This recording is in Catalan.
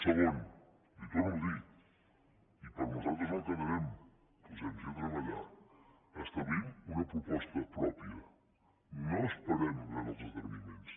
segon li ho torno a dir i per nosaltres no quedarà posem nos a treballar establim una proposta pròpia no esperem veure els esdeveniments